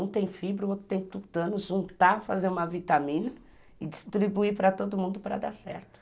Um tem fibra, o outro tem tutano, juntar, fazer uma vitamina e distribuir para todo mundo para dar certo.